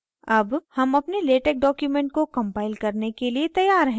अब हम अपने latex document को कंपाइल करने के लिए तैयार हैं